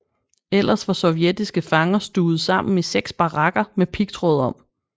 Ellers var sovjetiske fanger stuvet sammen i seks barakker med pigtråd om